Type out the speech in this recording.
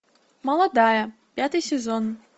молодая пятый сезон